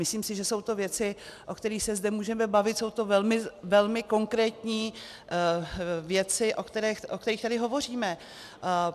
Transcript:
Myslím si, že jsou to věci, o kterých se zde můžeme bavit, jsou to velmi konkrétní věci, o kterých tady hovoříme.